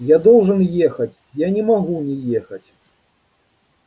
я должен ехать я не могу не ехать